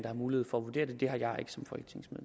har mulighed for